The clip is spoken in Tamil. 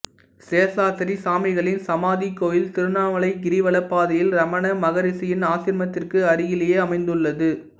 சேசாத்திரி சாமிகளின் சமாதிக் கோயில் திருவண்ணாமலை கிரிவலப் பாதையில் ரமண மகரிசியின் ஆசிரமத்திற்கு அருகிலேயே அமைந்துள்ளது